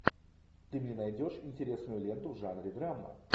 ты мне найдешь интересную ленту в жанре драма